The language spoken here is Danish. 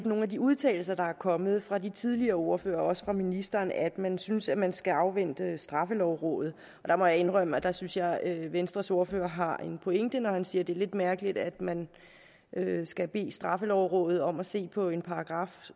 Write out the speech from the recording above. nogle af de udtalelser der er kommet fra de tidligere ordførere også fra ministeren at man synes at man skal afvente straffelovrådet jeg må indrømme at der synes jeg at venstres ordfører har en pointe når han siger at det er lidt mærkeligt at man skal bede straffelovrådet om at se på en paragraf